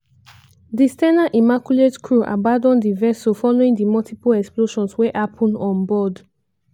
di s ten a immaculate crew abandon di vessel following di multiple explosions wey happun onboard.